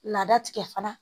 Laada tigɛ fana